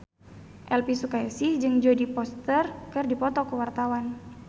Elvi Sukaesih jeung Jodie Foster keur dipoto ku wartawan